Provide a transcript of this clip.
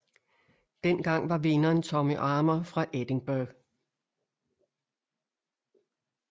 Dengang var vinderen Tommy Armour fra Edinburgh